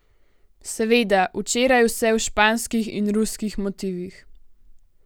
Seveda včeraj vse v španskih in ruskih motivih.